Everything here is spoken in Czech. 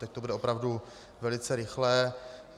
Teď to bude opravdu velice rychlé.